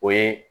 O ye